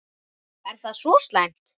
Er það svo slæmt?